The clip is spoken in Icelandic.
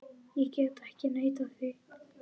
Ég get ekki neitað því.